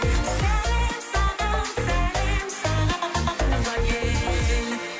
сәлем саған сәлем саған туған ел